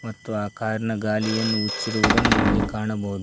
ಮತ್ತು ಆ ಕಾರಿನ ಗಾಲಿಯನ್ನು ಉಚ್ಚಿರುವುದನ್ನು ಇಲ್ಲಿ ಕಾಣಬಹುದು.